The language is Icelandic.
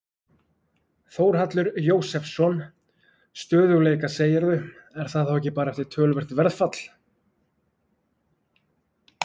Þórhallur Jósefsson: Stöðugleika segirðu, er það þá ekki bara eftir töluvert verðfall?